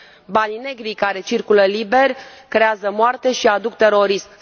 Banii negri care circulă liber creează moarte și aduc terorism.